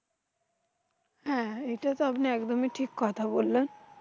হ্যাঁ এইটাতো আপনি একদমই ঠিক কথা বললেন।